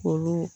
Olu